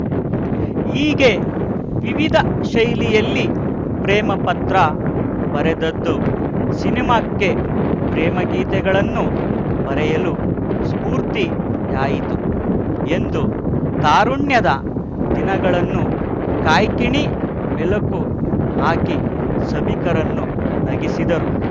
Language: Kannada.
ಹೀಗೆ ವಿವಿಧ ಶೈಲಿಯಲ್ಲಿ ಪ್ರೇಮಪತ್ರ ಬರೆದದ್ದು ಸಿನಿಮಾಕ್ಕೆ ಪ್ರೇಮಗೀತೆಗಳನ್ನು ಬರೆಯಲು ಸ್ಪೂರ್ತಿಯಾಯಿತು ಎಂದು ತಾರುಣ್ಯದ ದಿನಗಳನ್ನು ಕಾಯ್ಕಿಣಿ ಮೆಲುಕು ಹಾಕಿ ಸಭಿಕರನ್ನು ನಗಿಸಿದರು